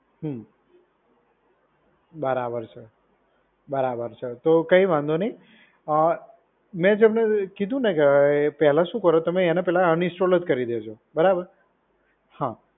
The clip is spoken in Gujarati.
હમ્મ. બરાબર સર. બરાબર સર. તો કંઈ વાંધો નહીં. અ મેં તમને કીધુ ને પહેલા શું કરો તમે એને પહેલા અનઇન્સ્ટોલ કરી દેજો. બરાબર. હા.